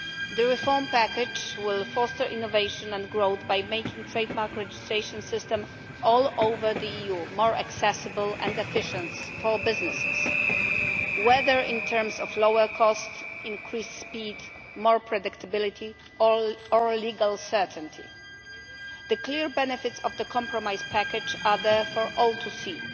The reform package will foster innovation and growth by making the trade mark registration system all over the EU more accessible and efficient for businesses, whether in terms of lower cost, increased speed, more predictability or legal certainty. The clear benefits of the compromise package are there for all to see.